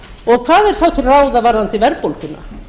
og hvað er þá til ráða varðandi verðbólguna